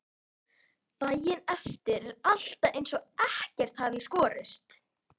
Daginn eftir er alltaf eins og ekkert hafi í skorist.